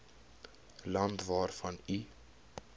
land waarvan u